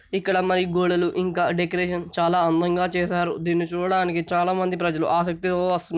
ఇక్కడ అమ్మాయి గోడలు ఇంకా డెకరేషన్ చాలా అందంగా చేసారు దీన్ని చూడడానికి చాలా మంది ప్రజలు ఆసక్తిగా వస్తు--